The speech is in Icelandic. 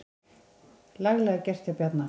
Laglega gert hjá Bjarna.